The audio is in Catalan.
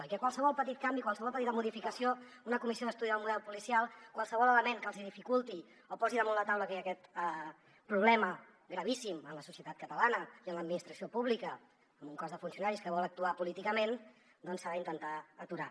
i que qualsevol petit canvi qualsevol petita modificació una comissió d’estudi del model policial qualsevol element que els hi dificulti o posi damunt la taula que hi ha aquest problema gravíssim en la societat catalana i en l’administració pública amb un cos de funcionaris que vol actuar políticament doncs s’ha d’intentar aturar